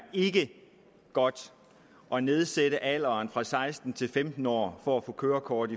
godt at nedsætte alderen fra seksten til femten år for at få kørekort